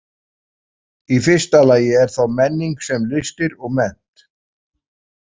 Í fyrsta lagi er þá menning sem listir og mennt.